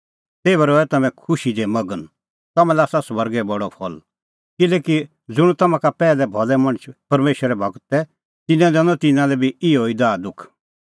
तेभै रहै तम्हैं खुशी दी मगन तम्हां लै आसा स्वर्गै बडअ फल़ किल्हैकि ज़ुंण तम्हां का पैहलै भलै मणछ परमेशरे गूर तै तिन्नैं दैनअ तिन्नां लै बी इहअ ई दाहदुख